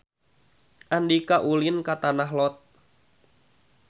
Andika ulin ka Tanah Lot